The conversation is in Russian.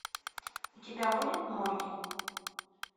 у тебя будет молли